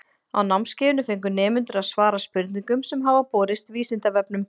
Á námskeiðinu fengu nemendur að svara spurningum sem hafa borist Vísindavefnum.